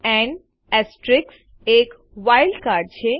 and એક wild card છે